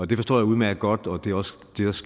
det forstår jeg udmærket godt og det er også